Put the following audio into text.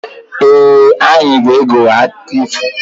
Ee, anyị ga-ege akụkọ ifo.